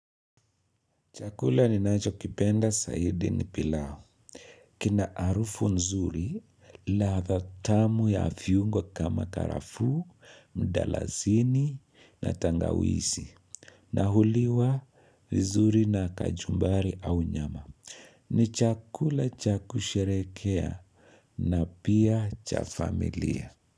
Chakula ni nacho kipenda saidi ni pilao. Kina arufu nzuri la dhatamu ya viungo kama tarafuu, mdalazini na tangawisi. Nahuliwa vizuri na kajumbari au nyama. Ni chakula cha kusherekea na pia chafamilia.